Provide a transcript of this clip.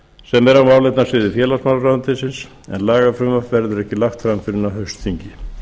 sem er á málefnasviði félagsmálaráðuneytis en lagafrumvarp verður ekki lagt fram fyrr en á haustþingi